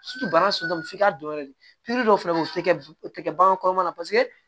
bana f'i ka dɔn yɛrɛ de dɔw fɛnɛ bɛ o tɛ kɛ o tɛ kɛ bagan kɔrɔma na paseke